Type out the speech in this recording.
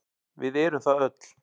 Við erum það öll.